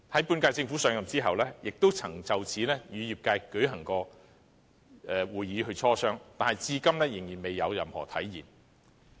本屆政府上任後，也曾就此與業界舉行會議磋商，但至今仍未有任何進展。